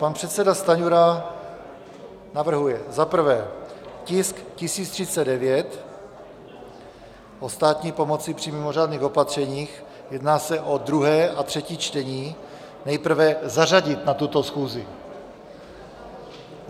Pan předseda Stanjura navrhuje za prvé tisk 1039, o státní pomoci při mimořádných opatřeních, jedná se o druhé a třetí čtení, nejprve zařadit na tuto schůzi.